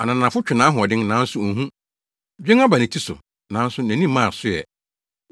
Ananafo twe nʼahoɔden, nanso onhu. Dwen aba ne ti so, nanso nʼani mmaa so ɛ.